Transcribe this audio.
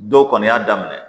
Dɔw kɔni y'a daminɛ